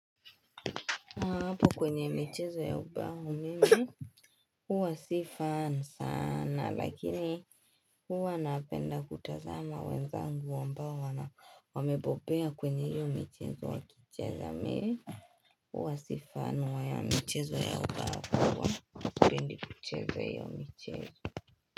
Hapo kwenye michezo ya ubao mimi huwa si fan sana lakini huwa napenda kutazama wenzangu ambao wamebobea kwenye hiyo michezo wakicheza mimi huwa si fan ya michezo ya ubao huwa sipendi kucheza hio michezo.